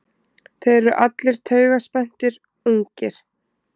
Þeir eru allir taugaspenntir, ungir.